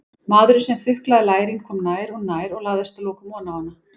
Maðurinn sem þuklaði lærin kom nær og nær og lagðist að lokum oná hana.